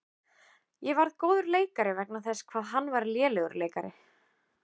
Ég varð góður leikari vegna þess hvað hann var lélegur leikari.